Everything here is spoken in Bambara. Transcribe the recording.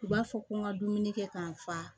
U b'a fɔ ko n ka dumuni kɛ ka n fa